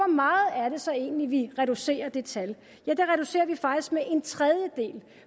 meget er det så egentlig vi reducerer det tal ja det reducerer vi faktisk med en tredjedel